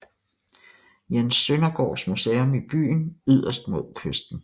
Jens Søndergaards Museum i byen yderst mod kysten